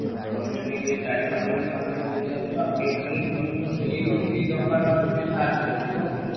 ଆଉ ତମେ ଟିକେ ଚାରି ପାଞ୍ଚ ଜଣ ସାଙ୍ଗ ଧରିକି ଆସିବ ଆଉ canteen system ହେଇନି ଟିକେ ଦବା ନବାରେ ଟିକେ ସାହାର୍ଯ୍ୟ କରିବ, କଣ କହୁଛ?